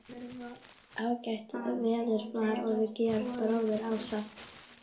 Ágætt veður var og við Georg bróðir, ásamt